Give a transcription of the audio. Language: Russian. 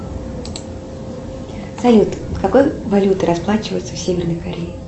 салют какой валютой расплачиваются в северной корее